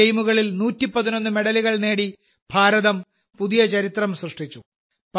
ഈ ഗെയിമുകളിൽ 111 മെഡലുകൾ നേടി ഭാരതം പുതിയ ചരിത്രം സൃഷ്ടിച്ചു